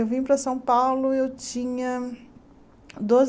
Eu vim para São Paulo, eu tinha doze.